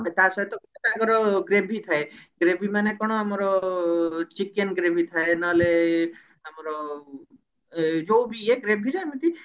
ତା ସହିତ ଗୋଟେ ତାଙ୍କର gravy ଥାଏ gravy ମାନେ କଣ ଆମର chicken gravy ଥାଏ ନହେଲେ ଆମର ଏ ଯୋଉ ବି ଇଏ gravy ରେ ଏମିତି